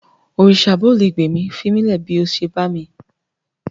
Òrìsà bóò le gbà mí, fimílẹ̀ bó o ṣe bá mi.